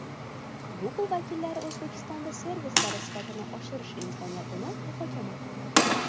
Google vakillari O‘zbekistonda servislari sifatini oshirish imkoniyatini muhokama qildi.